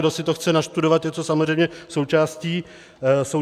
Kdo si to chce nastudovat, je to samozřejmě součástí toho tisku.